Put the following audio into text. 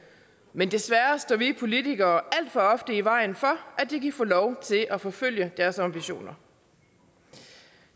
men desværre står vi politikere alt for ofte i vejen for at de kan få lov til at forfølge deres ambitioner